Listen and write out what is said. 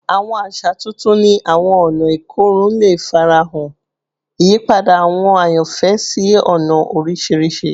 Awọn aṣa tuntun ni awọn ọna ikorun le farahan, iyipada awọn ayanfẹ si ọna oriṣiriṣi